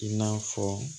I n'a fɔ